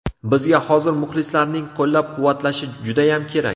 Bizga hozir muxlislarning qo‘llab-quvvatlashi judayam kerak.